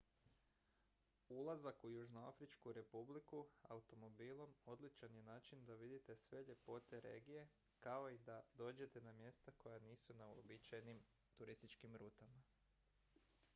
ulazak u južnoafričku republiku automobilom odličan je način da vidite sve ljepote regije kao i da dođete na mjesta koja nisu na uobičajenim turističkim rutama